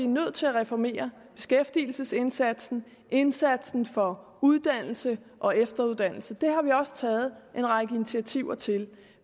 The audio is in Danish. nødt til at reformere beskæftigelsesindsatsen indsatsen for uddannelse og efteruddannelse det har vi også taget en række initiativer til